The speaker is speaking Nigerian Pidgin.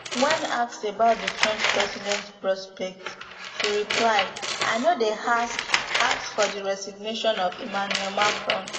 wen asked about di french president prospects she reply i no dey ask ask for di resignation of emmanuel macron